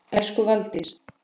Elsku Valdís.